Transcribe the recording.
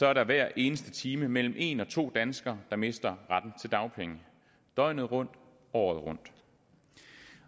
er der hver eneste time mellem en og to danskere der mister retten til dagpenge døgnet rundt året rundt